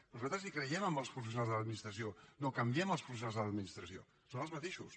nosaltres hi creiem en els professionals de l’administració no canviem els professionals de l’administració són els mateixos